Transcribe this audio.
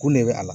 Kun ne bɛ a la